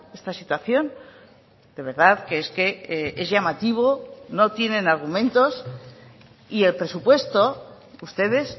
esta situación de verdad que es que es llamativo no tienen argumentos y el presupuesto ustedes